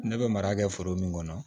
Ne bɛ mara kɛ foro min kɔnɔ